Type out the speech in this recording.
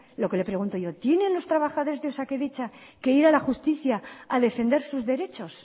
lo que le pregunto yo tienen los trabajadores de osakidetza que ir a la justicia a defender sus derechos